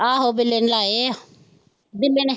ਆਹੋ ਬਿੱਲੇ ਨੇ ਲਾਏ ਆ, ਬਿੱਲੇ ਨੇ।